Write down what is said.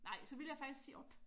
Nej så ville jeg faktisk sige op